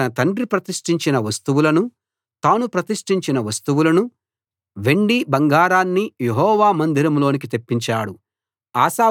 అతడు తన తండ్రి ప్రతిష్ఠించిన వస్తువులనూ తాను ప్రతిష్ఠించిన వస్తువులనూ వెండి బంగారాన్నీ యెహోవా మందిరంలోకి తెప్పించాడు